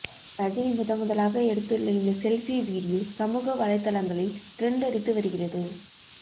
ரஜினி முதன்முதலாக எடுத்துள்ள இந்த செல்ஃபி வீடியோ சமூக வலைதளங்களில் டிரென்ட் அடித்து வருகிறது